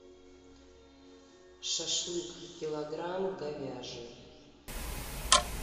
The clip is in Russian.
шашлык килограмм говяжий